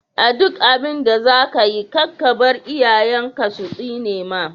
A duk abinda zakayi kar kabar iyayen ka su tsinema.